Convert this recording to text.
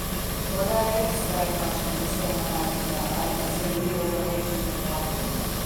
Morda je res zadaj kakšna poslovna taktika, ali pa se bojijo zameriti Hrvatom?